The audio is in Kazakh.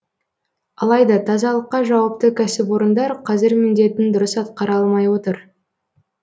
алайда тазалыққа жауапты кәсіпорындар қазір міндетін дұрыс атқара алмай отыр